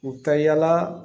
U ka yala